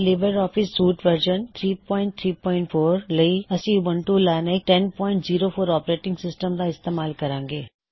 Libre office suite version 334 ਲਈ ਅਸੀਂ Ubuntu Linux 1004 operating system ਦਾ ਇਸਤੇਮਾਲ ਕਰਾਂਗੇ